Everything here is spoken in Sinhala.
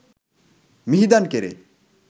මිහිදන් කෙරේ.